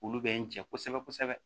Olu bɛ n jɛ kosɛbɛ kosɛbɛ